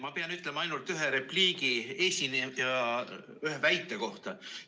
Ma pean ütlema ainult ühe repliigi esineja ühe väite kohta.